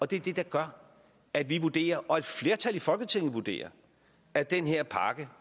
det der gør at vi vurderer og at et flertal i folketinget vurderer at den her pakke